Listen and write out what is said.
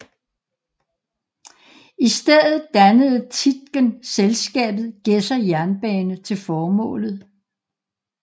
I stedet dannede Tietgen selskabet Gjedser Jernbane til formålet